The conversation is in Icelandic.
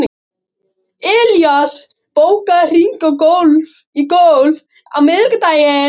Elías, bókaðu hring í golf á miðvikudaginn.